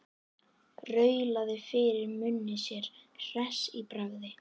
Raulaði fyrir munni sér hress í bragði.